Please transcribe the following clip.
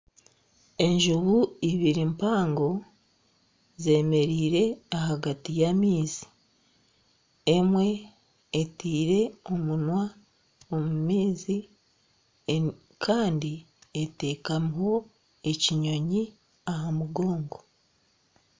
Enjubu ibiri mpango zemereire ahagati y'amaizi emwe etaire omunywa omu maizi kandi etekamiho ekinyoonyi aha mugongo.